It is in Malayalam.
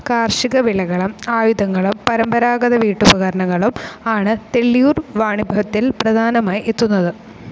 കാർഷിക വിളകളും ആയുധങ്ങളും പരമ്പരാഗത വീട്ടുപകരണങ്ങളും ആണ് തെള്ളിയൂർ വാണിഭത്തിൽ പ്രധാനമായി എത്തുന്നത്.